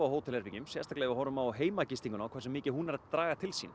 hótelherbergjum sérstaklega ef við horfum á heimagistinguna og hversu mikið hún er draga til sín